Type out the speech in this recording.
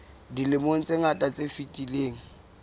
dilemong tse ngata tse fetileng